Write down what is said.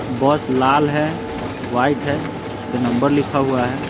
बस लाल है वाइट है उस पे नंबर लिखा हुआ है।